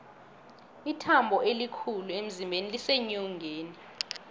ithambo elikhulu emzimbeni liseenyongeni